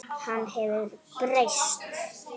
Hann hefur breyst.